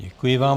Děkuji vám.